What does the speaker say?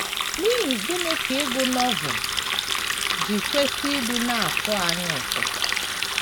N’ihi gịnị ka ịgụ Novel ji kwesị ịdị na - atọ anyị ụtọ?